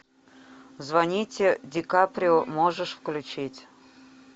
звоните ди каприо можешь включить